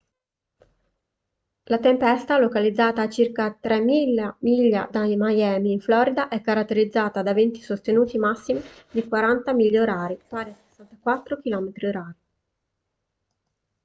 la tempesta localizzata a circa 3.000 miglia da miami in florida è caratterizzata da venti sostenuti massimi di 40 mph pari a 64 km/h